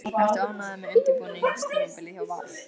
Ertu ánægður með undirbúningstímabilið hjá Val?